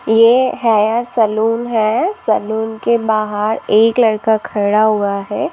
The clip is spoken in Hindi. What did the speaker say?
ये है सलोन है सलोन के बाहर एक लड़का खड़ा हुआ है।